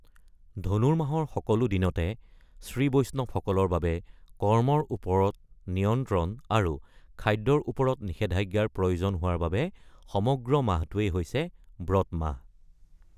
ধনুৰমাহৰ সকলো দিনতে শ্ৰীবৈষ্ণৱসকলৰ বাবে কৰ্মৰ ওপৰত নিয়ন্ত্ৰণ আৰু খাদ্যৰ ওপৰত নিষেধাজ্ঞাৰ প্ৰয়োজন হোৱাৰ বাবে সমগ্ৰ মাহটোৱেই হৈছে ব্ৰত মাহ।